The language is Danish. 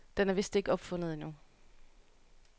Den er vist ikke opfundet endnu.